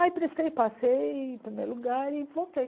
Aí prestei, passei em primeiro lugar e voltei.